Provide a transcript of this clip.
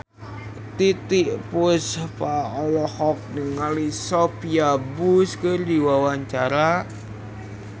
Titiek Puspa olohok ningali Sophia Bush keur diwawancara